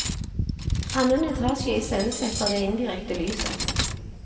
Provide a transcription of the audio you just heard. Annen etasje iscenesetter det indirekte lyset.